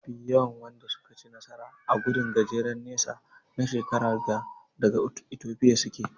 Mafi yawan Wanda suka ci nasara na gudun gajeren nesa na shekaran ga daga Ethiopia suke.